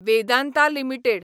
Vedanta limited